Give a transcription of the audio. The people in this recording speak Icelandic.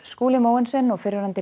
Skúli Mogensen og fyrrverandi